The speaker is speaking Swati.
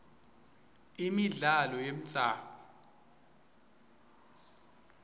imidlalo yemdzabu